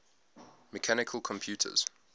mechanical computers